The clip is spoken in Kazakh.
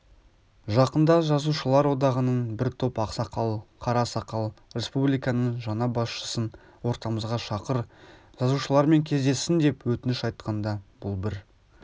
жақында жазушылар одағында бір топ ақсақал-қарасақал республиканың жаңа басшысын ортамызға шақыр жазушылармен кездессін деп өтініш айтқанда бұл бір